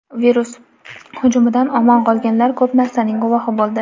Virus hujumidan omon qolganlar ko‘p narsaning guvohi bo‘ldi.